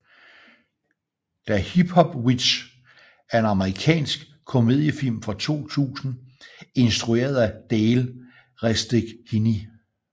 Da Hip Hop Witch er en amerikansk komediefilm fra 2000 instrueret af Dale Resteghini